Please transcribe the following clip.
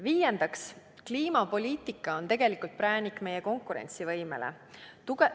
Viiendaks, kliimapoliitika on tegelikult präänik meie konkurentsivõimele.